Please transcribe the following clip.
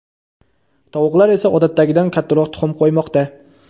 tovuqlar esa odatdagidan kattaroq tuxum qo‘ymoqda.